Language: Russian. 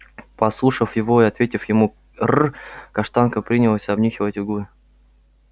послушав его и ответив ему р каштанка принялась обнюхивать углы